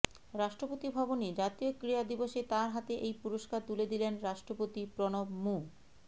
রাষ্ট্রপতি ভবনে জাতীয় ক্রীড়া দিবসে তাঁর হাতে এই পুরস্কার তুলে দিলেন রাষ্ট্রপতি প্রণব মু